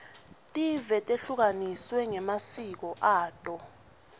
tive tehlukaniswe ngemasiko ato